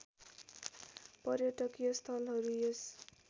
पर्यटकीय स्थलहरू यस